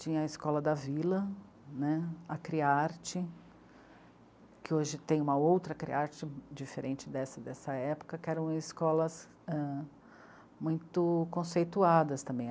Tinha a Escola da Vila né, a Criarte, que hoje tem uma outra Criarte diferente dessa, dessa época, que eram escolas muito conceituadas também.